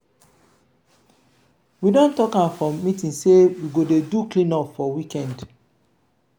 we don tok am for meeting sey we go dey do clean-up for weekend.